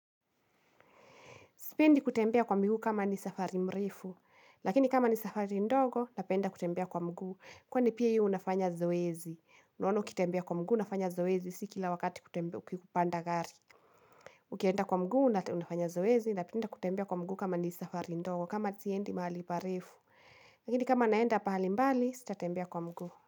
Sipendi kutembea kwa miguu kama ni safari mrefu, lakini kama ni safari ndogo, napenda kutembea kwa mguu. Kwani pia hiyo unafanya zoezi, unaona ukitembea kwa mguu, unafanya zoezi, si kila wakati kutembea ukipanda gari. Ukienda kwa mguu, unafanya zoezi, napenda kutembea kwa mguu kama ni safari ndogo, kama siendi mahali parefu. Lakini kama naenda pahali mbali, sitatembea kwa mguu.